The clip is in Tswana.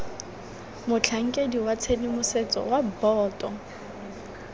motlhankedi wa tshedimosetso wa boto